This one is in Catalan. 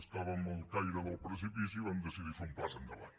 estàvem al caire del precipici i vam decidir fer un pas endavant